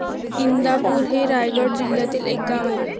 इंदापूर हे रायगड जिल्ह्यातील एक गाव आहे.